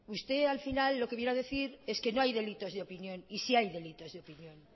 usted al final lo que viene a decir es que no haydelitos de opinión y sí hay delitos de opinión